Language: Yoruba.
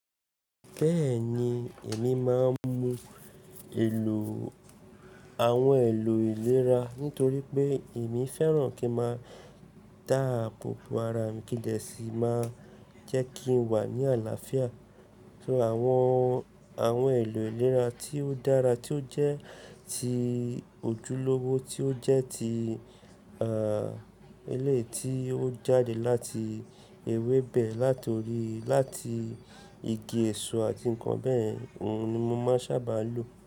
Bẹ́ẹ̀ni, èmi máa ń mu èlò àwọn èlò ìlera nítorí pé èmi fẹ́ràn kí máa ta àbòbo ara mi kídẹsí máa jẹ́ kí n wà ní àlàáfíà. So àwọn, àwọn èlò ìlera tí ó dára tí ó jẹ́ ti ojúlówó tí ó jẹ́ ti, ah, éleyi tí ó jáde láti ewébẹ̀, látorí láti igi èso àti nǹkan bẹ́yẹn, òun ni mo máa ń sábà lo.